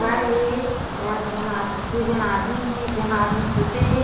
घर हे ओमा एक झन आदमी दु झन आदमी हे एक झन आदमी सुते हे।